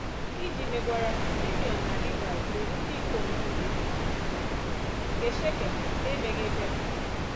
Iji megwara, Simiọn na Livaị gburu ndị ikom niile nke Shekem n’emeghị ebere.